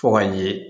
Fo ka ɲɛ